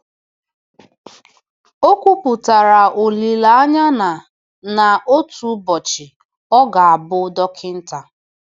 O kwupụtara olileanya na na otu ụbọchị ọ ga-abụ dọkịta.